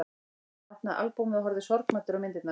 Hann opnaði albúmið og horfði sorgmæddur á myndirnar.